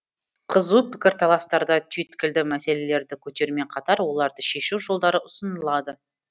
қызу пікірталастарда түйткілді мәселелерді көтерумен қатар оларды шешу жолдары ұсынылады